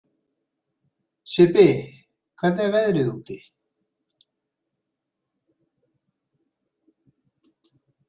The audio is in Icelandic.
Sibbi, hvernig er veðrið úti?